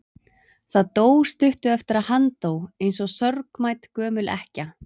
Það dó stuttu eftir að hann dó, eins og sorgmædd gömul ekkja.